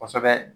Kosɛbɛ